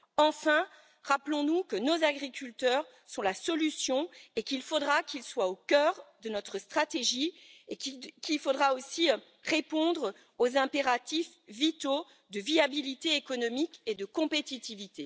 Enfin, rappelons nous que nos agriculteurs sont la solution, qu'il faudra qu'ils soient au cœur de notre stratégie, et qu'il faudra aussi répondre aux impératifs vitaux de viabilité économique et de compétitivité.